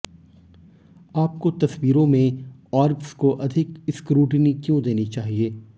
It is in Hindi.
आपको तस्वीरों में ऑर्ब्स को अधिक स्क्रूटीनी क्यों देनी चाहिए